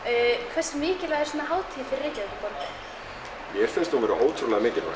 hversu mikilvæg er svona hátíð fyrir Reykjavíkurborg mér finnst hún alveg ótrúlega mikilvæg